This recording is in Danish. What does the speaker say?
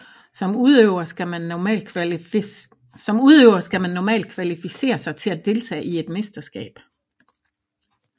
Som udøver skal man normalt kvalificere sig til at deltage i et mesterskab